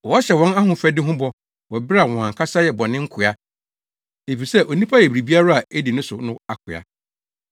Wɔhyɛ wɔn ahofadi ho bɔ wɔ bere a wɔn ankasa yɛ bɔne nkoa efisɛ onipa yɛ biribiara a edi no so no akoa.